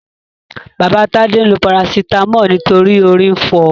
Baba Tade lo parasítámọ̀ nítorí orí ń fọ.